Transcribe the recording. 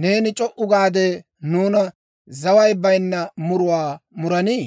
Neeni c'o"u gaade, nuuna zaway bayinna muruwaa muranii?